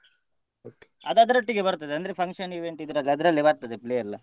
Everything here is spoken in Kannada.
ಅದು ಅದ್ರೊಟ್ಟಿಗೆ ಬರ್ತದೆ ಅಂದ್ರೆ function event ಇದ್ರಲ್ಲೇ ಅದ್ರಲ್ಲೇ ಬರ್ತದೆ play ಎಲ್ಲ.